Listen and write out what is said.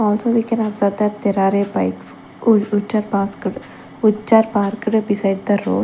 also we can observe that there are a bikes which are parked beside the road.